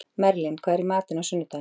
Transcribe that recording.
Merlin, hvað er í matinn á sunnudaginn?